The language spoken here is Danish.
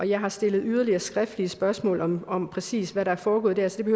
jeg har stillet yderligere skriftlige spørgsmål om om præcis hvad der er foregået der så det